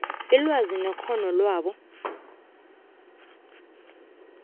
ilwazi nekghono labo